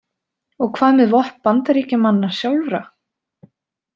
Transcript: Og hvað með vopn Bandaríkjamanna sjálfra?